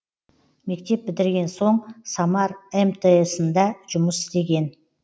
мектеп бітірген соң самар мтс ында жұмыс істеген